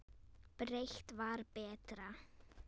Breitt var betra.